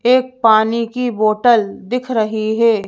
एक पानी की बोतल दिख रही है।